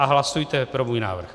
A hlasujte pro můj návrh.